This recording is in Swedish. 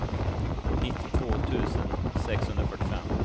nittiotvå tusen sexhundrafyrtiofem